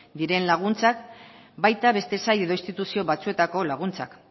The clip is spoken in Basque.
diren laguntzak baita beste sail edo instituzio batzuetako laguntzak